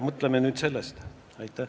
Mõtleme nüüd selle üle.